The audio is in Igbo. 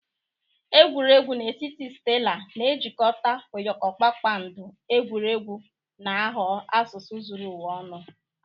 Egwuregwu na etiti stela na-ejikọta ụyọkọ kpakpando, egwuregwu na-aghọ asụsụ zuru ụwa ọnụ.